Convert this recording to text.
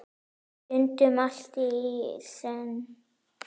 Stundum allt í senn.